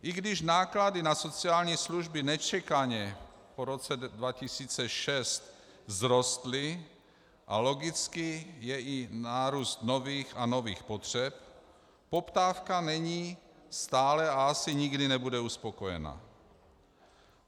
I když náklady na sociální služby nečekaně po roce 2006 vzrostly a logicky je i nárůst nových a nových potřeb, poptávka není stále a asi nikdy nebude uspokojena.